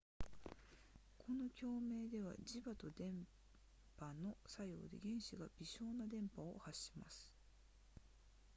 この共鳴では磁場と電波の作用で原子が微小な電波を発します